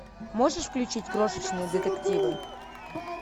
можешь включить крошечные детективы